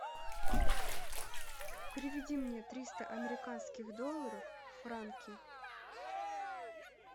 переведи мне триста американских долларов в франки